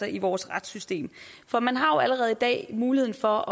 i vores retssystem for man har jo allerede i dag mulighed for